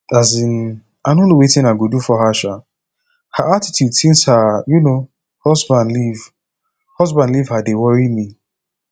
um i no know wetin i go do for her um her attitude since her um husband leave husband leave her dey worry me